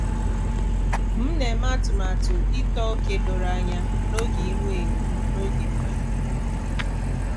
M na-eme atụmatụ ịtọ ókè doro anya n'oge ihuenyo m n'oge mgbede.